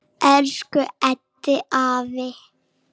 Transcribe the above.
Elsku Eddi afi.